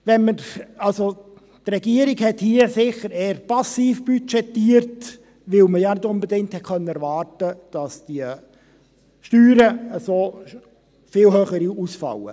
Wenn wir, also … Die Regierung hat hier sicher eher passiv budgetiert, weil man ja nicht unbedingt erwarten konnte, dass die Steuern so viel höher ausfallen.